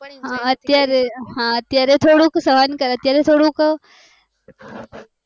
હા અત્યારે હા અત્યારે થોડુંક સહન કરે, અત્યારે થોડુક